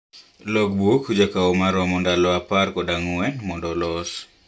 Logbook jakao maromo ndalo apar kod ang'uen mondo olos.